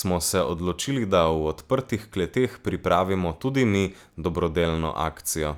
smo se odločili, da v odprtih kleteh pripravimo tudi mi dobrodelno akcijo.